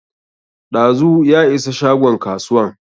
Ɗazu ya isa shagon kasuwan